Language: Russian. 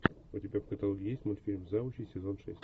у тебя в каталоге есть мультфильм завучи сезон шесть